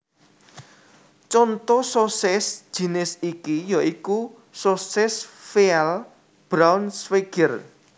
Contho sosis jinis iki ya iku sosis Veal Braunschweiger